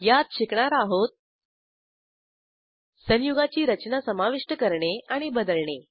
यात शिकणार आहोत संयुगाची रचना समाविष्ट करणे आणि बदलणे